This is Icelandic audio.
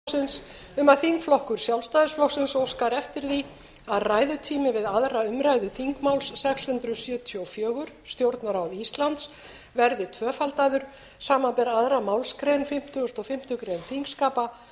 forseta hefur borist bréf frá ragnheiði e árnadóttur þingflokksformanni sjálfstæðisflokksins um að þingflokkur sjálfstæðisflokksins óskar eftir að ræðutími við aðra umræðu þingmáls sex hundruð sjötíu og fjögur stjórnarráð íslands verði tvöfaldaður samanber aðra grein fimmtugasta og fimmtu greinar þingskapa